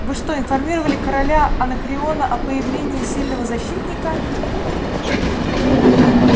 вы что информировали короля анакреона о появлении сильного защитника